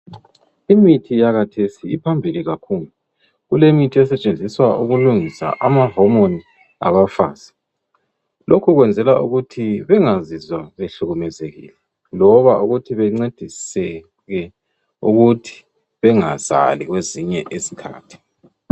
Imithi yakhathesi iphambili kakhulu kulemithi esetshenziswa ukulungisa ama homoni abafazi, lokhu kwenzelwa ukuthi bengazizwa behlukumezekile loba ukuthi bencediseke ukuthi bengasali kwezinye isikhathi.